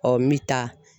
Ɔ n bɛ taa